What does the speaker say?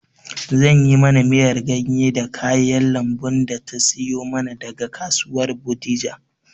Zan yi mana miyar ganye da kayan lambun da ta siyo mana daga kasuwar bodija